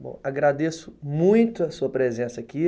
Bom, agradeço muito a sua presença aqui.